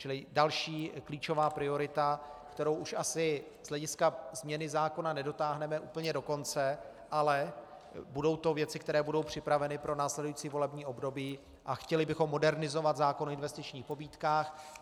Čili další klíčová priorita, kterou už asi z hlediska změny zákona nedotáhneme úplně do konce, ale budou to věci, které budou připraveny pro následující volební období, a chtěli bychom modernizovat zákon o investičních pobídkách.